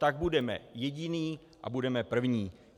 Tak budeme jediní a budeme první.